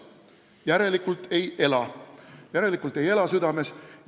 Järelikult ei ela südames.